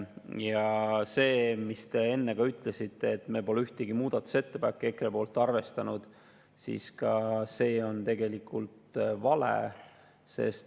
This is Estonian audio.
Ka see, mida te enne ütlesite, et me pole ühtegi EKRE muudatusettepanekut arvestanud, on tegelikult vale.